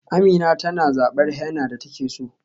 Amina tana zabar henna da take so.